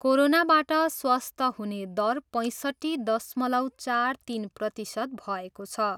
कोरोनाबाट स्वस्थ्य हुने दर पैसट्ठी दशमलव चार तिन प्रतिशत भएको छ।